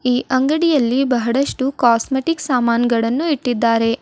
ಈ ಅಂಗಡಿಯಲ್ಲಿ ಬಹಳಷ್ಟು ಕಾಸ್ಮೆಟಿಕ್ ಸಾಮಾನ್ ಗಳನ್ನು ಇಟ್ಟಿದ್ದಾರೆ.